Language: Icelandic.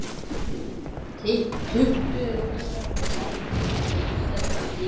Tuttugu mínútna gangur að íslenska skipinu.